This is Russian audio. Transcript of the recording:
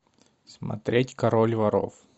смотреть король воров